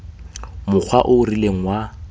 mokgwa o o rileng wa